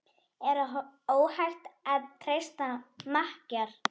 Er óhætt að treysta makker?